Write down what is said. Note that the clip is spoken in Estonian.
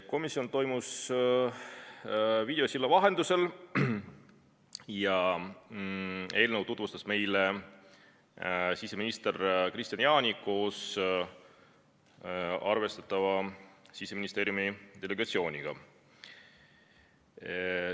Komisjoni istung toimus videosilla vahendusel ja eelnõu tutvustas meile siseminister Kristian Jaani koos arvestatava Siseministeeriumi delegatsiooniga.